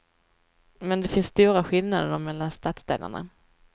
Men det finns stora skillnader mellan stadsdelarna.